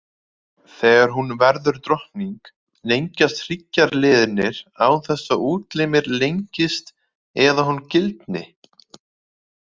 Þegar hún verður drottning, lengjast hryggjarliðirnir án þess að útlimir lengist eða hún gildni.